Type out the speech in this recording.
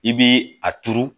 I bi a turu